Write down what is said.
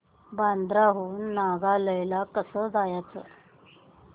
बांद्रा हून नायगाव ला कसं जायचं